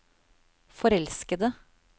forelskede